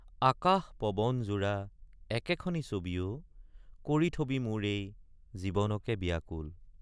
আকাশ পৱন জোৰা একেখনি ছবি অ কৰি থবি মোৰ এই জীৱনকে বিয়াকুল।